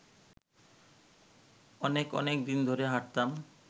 অনেক অনেক দিন ধরে হাঁটতাম